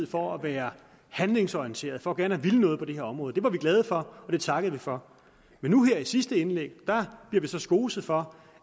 for at være handlingsorienteret og for gerne at ville noget på det her område det var vi glade for og det takkede vi for men nu her i sidste indlæg bliver vi så skoset for